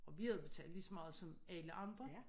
Og vi havde betalt lige så meget som alle andre